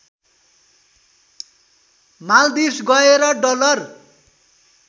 माल्दिप्स गएर डलर